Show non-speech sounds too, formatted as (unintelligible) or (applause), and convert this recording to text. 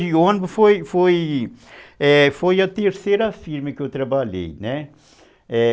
(unintelligible) de ônibus foi foi a terceira firma que eu trabalhei, né.